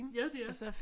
Ja de er